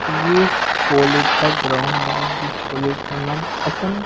ये कॉलेज का ग्राउंड हैजिस कॉलेज का नाम एस_एम --